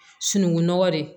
Sunungunɔgɔ de